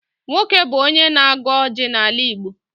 Nwoke bụ onye na-agọ ọjị n'ala Igbo.